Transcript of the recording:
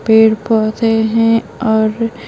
पेड़ पौधे हैं और --